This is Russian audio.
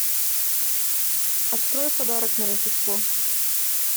открой подарок на рождество